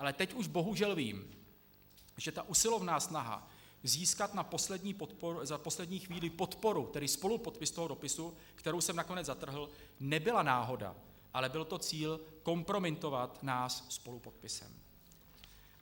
Ale teď už bohužel vím, že ta usilovná snaha získat na poslední chvíli podporu, tedy spolupodpis toho dopisu, kterou jsem nakonec zatrhl, nebyla náhoda, ale byl to cíl kompromitovat nás spolupodpisem.